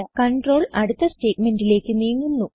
control അടുത്ത സ്റ്റേറ്റ്മെന്റിലേക്ക് നീങ്ങുന്നു